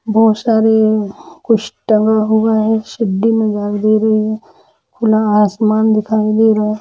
बहुत सारे कुछ टांगे हुए है सिद्दी मे दे रही है खुला आसमान दिखाई दे रहा है।